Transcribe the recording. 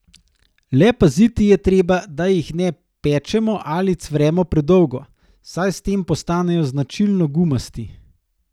Le paziti je treba, da jih ne pečemo ali cvremo predolgo, saj s tem postanejo značilno gumasti.